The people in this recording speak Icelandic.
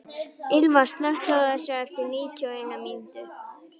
Ylva, slökktu á þessu eftir níutíu og eina mínútur.